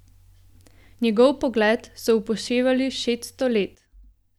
Njegov pogled so upoštevali šeststo let.